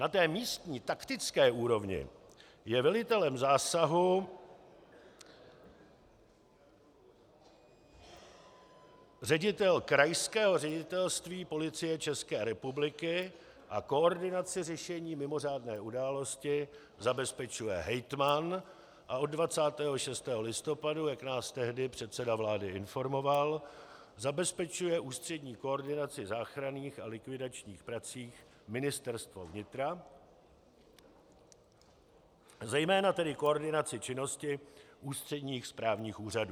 Na té místní, taktické úrovni je velitelem zásahu ředitel Krajského ředitelství Policie České republiky a koordinaci řešení mimořádné události zabezpečuje hejtman a od 26. listopadu, jak nás tehdy předseda vlády informoval, zabezpečuje ústřední koordinaci záchranných a likvidačních prací Ministerstvo vnitra, zejména tedy koordinaci činnosti ústředních správních úřadů.